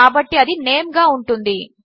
కాబట్టి అది నేమ్ గా ఉంటుంది